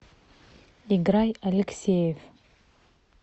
играй алексеев